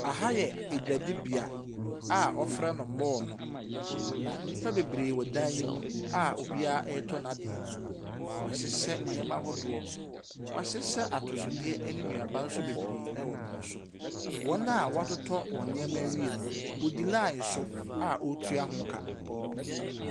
Aha yɛ dwadibea a wɔfrɛ no mall no, na nnipa bebree wɔ dan yi mu a obiara retɔ n'adeɛ. Wɔahyehɛ nneɛma ahodoɔ. Wɔahyehyɛ atosodeɛ ne nnuaba nso bebree wɔ pono so. Wɔn a wɔatoto wɔn nneɛma awie no, wɔdi line so a wɔreytua ho ka.